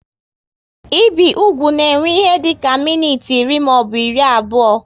Ibi ụkwụ na ewe ihe dịka minutes iri maọbụ iri abụọ